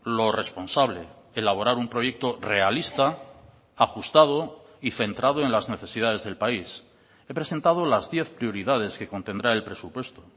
lo responsable elaborar un proyecto realista ajustado y centrado en las necesidades del país he presentado las diez prioridades que contendrá el presupuesto